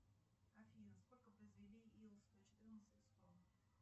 афина сколько произвели ил сто четырнадцать сто